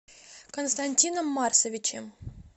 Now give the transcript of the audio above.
константином марсовичем